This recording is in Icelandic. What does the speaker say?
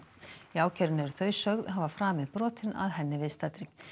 í ákærunni eru þau sögð hafa framið brotin að henni viðstaddri